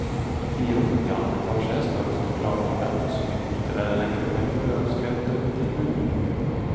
Ti rom i annen etasje skal stå klar for dem som i kortere eller lengre perioder ønsker et døgntilbud.